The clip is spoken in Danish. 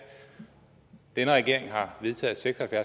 denne regering har vedtaget seks og